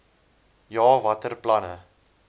ja watter planne